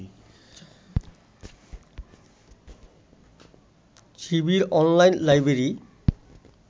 Shibir online library